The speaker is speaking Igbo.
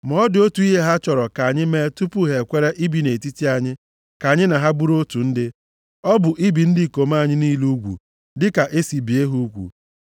Ma ọ dị otu ihe ha chọrọ ka anyị mee tupu ha ekwere ibi nʼetiti anyị ka anyị na ha bụrụ otu ndị. Ọ bụ ibi ndị ikom anyị niile ugwu dịka e si bie ha ugwu.